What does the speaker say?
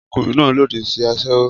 Ọkùnrin náà lòdì sí aṣẹ́wó